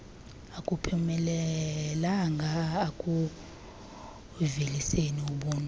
akuphumelelanga ekuuveliseni ubuntu